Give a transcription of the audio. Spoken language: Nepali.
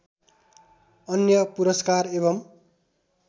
अन्य पुरस्कार एवं